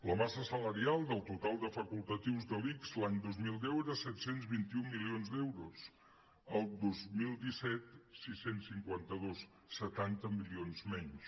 la massa salarial del total de facultatius de l’ics l’any dos mil deu era set cents i vint un milions d’euros el dos mil disset sis cents i cinquanta dos setanta milions menys